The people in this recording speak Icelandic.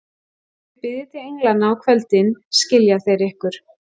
Þegar þið biðjið til englanna á kvöldin, skilja þeir ykkur.